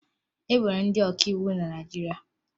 E nwere ndị ọkàiwu na Naịjirịa